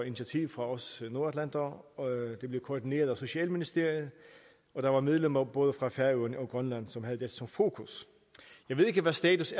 initiativ fra os nordatlantere det blev koordineret af socialministeriet og der var medlemmer både fra færøerne og grønland som havde dette som fokus jeg ved ikke hvad status